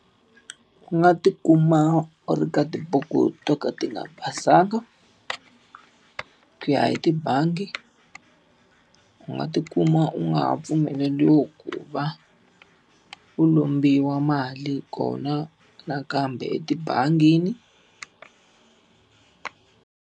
Ku nga ti kuma u ri ka tibuku to ka ti nga basanga, ku ya hi tibangi u nga ti kuma u nga ha pfumeleriwi ku va u lombiwa mali kona nakambe etibangini.